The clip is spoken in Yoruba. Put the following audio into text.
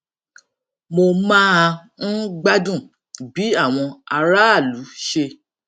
mo máa ń gbádùn bí àwọn aráàlú ṣe